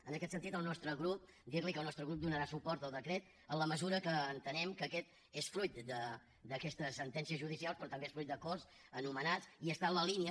en aquest sentit dir li que el nostre grup donarà suport al decret en la mesura que entenem que aquest és fruit d’aquesta sentència judicial però també és fruit d’acords anomenats i està en la línia